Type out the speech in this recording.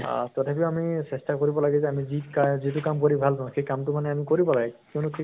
আহ তথাপিও আমি চেষ্টা কৰিব লাগে যে আমি যি কা যিটো কাম কৰি ভাল পাওঁ, সেই কাম্টো মানে আমি কৰিব লাগে কিয়্নো সেই